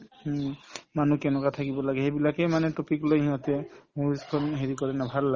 হুম, মানুহ কেনেকুৱা থাকিব লাগে সেইবিলাকে মানে topic লৈ সিহঁতে movies খন হেৰি কৰে ন ভাল লাগে